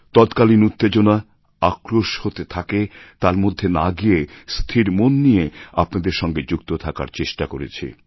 তৎকালিন উত্তেজনা আক্রোশ হতে থাকে তার মধ্যে না গিয়ে স্থির মন নিয়ে আপনাদের সঙ্গে যুক্ত থাকার চেষ্টা করেছি